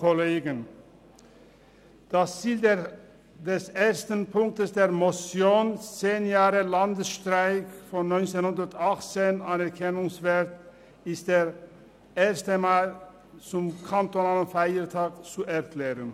Das Ziel der ersten Ziffer der Motion «100 Jahre Landesstreik von 1918: Anerkennungswert» ist es, den Ersten Mai zum kantonalen Feiertag zu erklären.